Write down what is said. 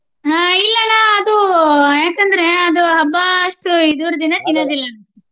ಹ್ಮ ಇಲ್ಲ ಅಣ್ಣ ಅದು ಯಾಕೆ ಅಂದ್ರೆ ಅದು ಹಬ್ಬ ಅಷ್ಟು ಇದರ ದಿನ ತಿನ್ನೋದಿಲ್ಲಾ ಅನ್ಸುತ್ತ ಅಣ್ಣ.